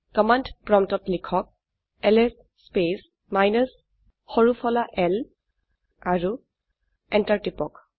command প্ৰম্পটত লিখক LS space minus সৰু ফলা l আৰু এন্টাৰ টিপক